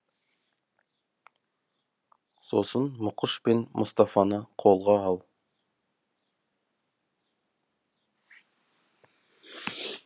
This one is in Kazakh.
сосын мұқыш пен мұстафаны қолға ал